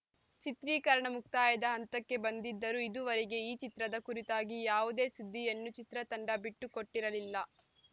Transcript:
ಚಿತ್ರೀಕರಣ ಮುಕ್ತಾಯದ ಹಂತಕ್ಕೆ ಬಂದಿದ್ದರೂ ಇದುವರೆಗೆ ಈ ಚಿತ್ರದ ಕುರಿತಾಗಿ ಯಾವುದೇ ಸುದ್ದಿಯನ್ನು ಚಿತ್ರತಂಡ ಬಿಟ್ಟುಕೊಟ್ಟಿರಲಿಲ್ಲ